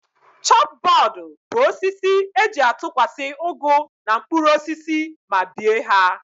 Chọp bọọdụ bụ osisi e ji a tụkwasị ụgụ na mkpụrụosisi ma bie ha